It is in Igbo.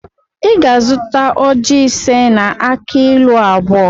Ị ga-azụta ojị ise na akị ilu abụọ